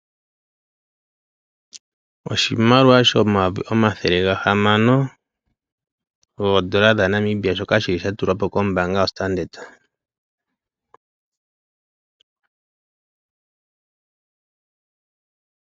Oshimaliwa shomaayovi omathele gatano shaNamibia shoka shili sha tulwapo kombaanga yaStandard.